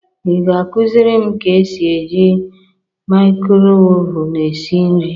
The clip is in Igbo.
Ị ga-akụzịrị m ka esi e ji mikrowevu esi nri?